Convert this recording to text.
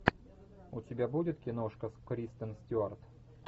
у тебя будет киношка с кристен стюарт